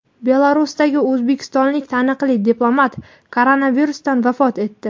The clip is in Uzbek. Belarusdagi o‘zbekistonlik taniqli diplomat koronavirusdan vafot etdi.